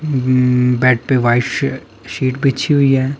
उम bed पे white शे sheet बिछी हुई है।